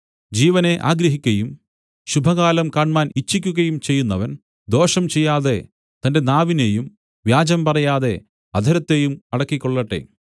ജീവനെ ആഗ്രഹിക്കയും ശുഭകാലം കാണ്മാൻ ഇച്ഛിക്കുകയും ചെയ്യുന്നവൻ ദോഷം ചെയ്യാതെ തന്റെ നാവിനേയും വ്യാജം പറയാതെ അധരത്തെയും അടക്കിക്കൊള്ളട്ടെ